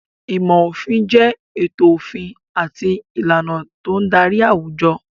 Ìmọ̀ òfin jẹ ètò òfin àti ìlànà tó ń darí àwùjọ.